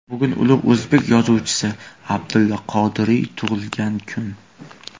Bugun ulug‘ o‘zbek yozuvchisi Abdulla Qodiriy tug‘ilgan kun.